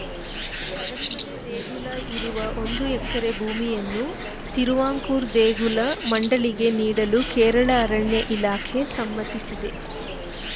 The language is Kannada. ಶಬರಿಮಲೆ ದೇಗುಲ ಇರುವ ಒಂದು ಎಕರೆ ಭೂಮಿಯನ್ನು ತಿರುವಾಂಕೂರು ದೇಗುಲ ಮಂಡಳಿಗೆ ನೀಡಲು ಕೇರಳ ಅರಣ್ಯ ಇಲಾಖೆ ಸಮ್ಮತಿಸಿದೆ